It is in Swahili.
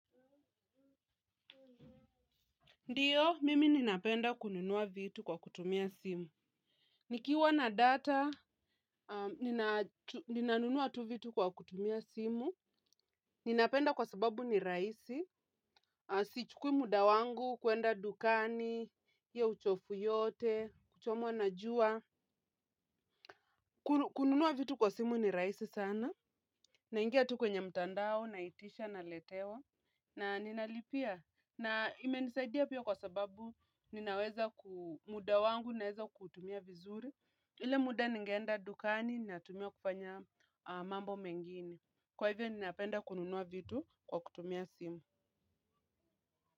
Ndiyo, mimi ninapenda kununua vitu kwa kutumia simu. Nikiwa na data, ninanunua tu vitu kwa kutumia simu. Ninapenda kwa sababu ni raisi. Sichukui muda wangu, kwenda dukani, hiyo uchovu yote, kuchomwa na jua. Kununua vitu kwa simu ni raisi sana. Naingia tu kwenye mtandao, naitisha, naletewa. Na ninalipia na imenisadia pia kwa sababu ninaweza ku muda wangu naweza kutumia vizuri. Ile muda ningeenda dukani ninatumia kufanya mambo mengine. Kwa hivyo ninapenda kununua vitu kwa kutumia simu.